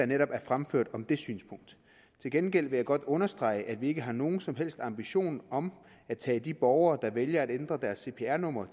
netop er fremført om det synspunkt til gengæld vil jeg godt understrege at vi ikke har nogen som helst ambition om at tage de borgere der vælger at ændre deres cpr nummer